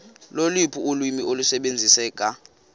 loluphi ulwimi olusebenziseka